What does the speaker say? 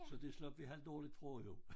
Så det slap vi halvdårligt fra jo